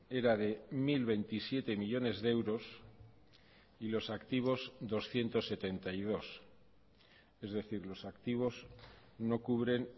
era de mil veintisiete millónes de euros y los activos doscientos setenta y dos es decir los activos no cubren